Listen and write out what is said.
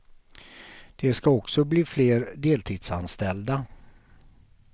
Det ska också bli fler deltidsanställda.